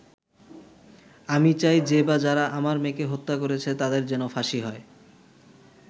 আমি চাই, যে বা যারা আমার মেয়েকে হত্যা করেছে, তাদের যেন ফাঁসি হয়।